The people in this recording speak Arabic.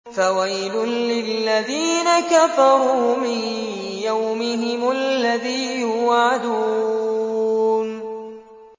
فَوَيْلٌ لِّلَّذِينَ كَفَرُوا مِن يَوْمِهِمُ الَّذِي يُوعَدُونَ